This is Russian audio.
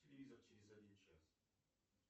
телевизор через один час